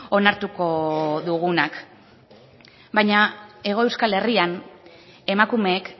onartuko dugunak baina hego euskal herrian emakumeek